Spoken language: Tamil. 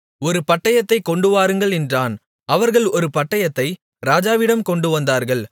ஒரு பட்டயத்தைக் கொண்டுவாருங்கள் என்றான் அவர்கள் ஒரு பட்டயத்தை ராஜாவிடம் கொண்டுவந்தார்கள்